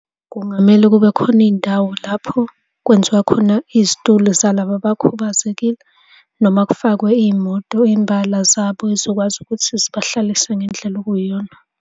Kungamele kube khona iy'ndawo lapho kwenziwa khona izitulo zalaba abakhubazekile noma kufakwe iy'moto imbala zabo ey'zokwazi ukuthi zibahlalise ngendlela okuyiyona.